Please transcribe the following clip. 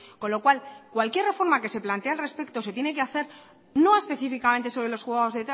con lo cual cualquier reforma que se plantee al respecto se tiene que hacer no específicamente sobre los juzgados